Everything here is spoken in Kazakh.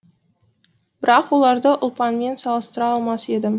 бірақ оларды ұлпанмен салыстыра алмас едім